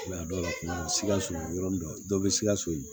A dɔw la sikaso yɔrɔ min do dɔ bɛ sikaso